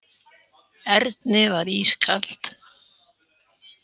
Erni var ískalt.